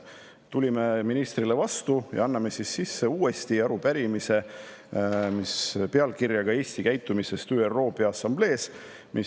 Tulime ministrile vastu ja anname uuesti sisse arupärimise Eesti käitumise kohta ÜRO Peaassamblees.